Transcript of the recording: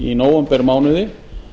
í nóvembermánuði